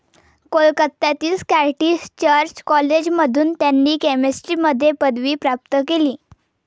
कोलकत्यातील Scottish church कॉलेजमधून त्यांनी केमिस्ट्रीमध्ये पदवी प्राप्त केली.